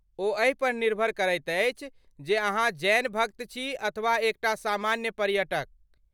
ओ एहि पर निर्भर करैत अछि जे अहाँ जैन भक्त छी अथवा एक टा सामान्य पर्यटक।